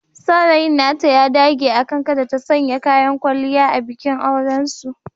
Saurayin nata ya dage akan kada ta sanya kayan kwalliya a bikin aurensu.